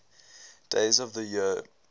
days of the year